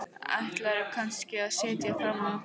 Ætlaðirðu kannski að sitja fram á nótt?